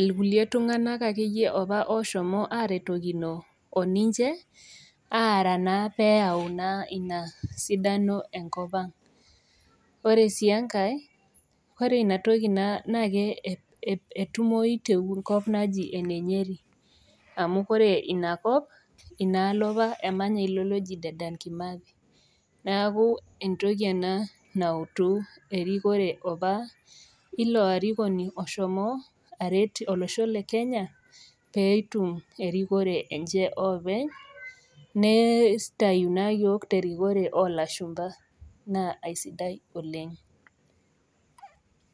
ilkulie tung'anak akeyie opa oshomo aretokino oninche aara naa peyau naa ina sidano enkop ang ore sii enkae ore inatoki naa naake etumoi tenkop naji ene nyeri amu kore inakop inaalo opa emanya ilo loji Dedan kimathi naku entoki ena nautu erikore apa ilo arikoni oshomo aret olosho le kenya peitum erikore enche oopeny neistayu naa iyiok terikore olashumpa naa aisidai oleng.